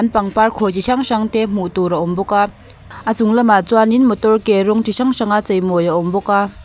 pangpar khawi chi hrang hrang te hmuh tur a awm bawk a a chung lam ah chuan in motor ke rawng chi hrang hrang a chei mawi a awm bawk a.